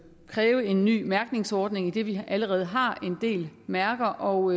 kræve en ny mærkningsordning idet vi allerede har en del mærker og